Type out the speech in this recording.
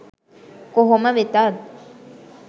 කොහොම වෙතත්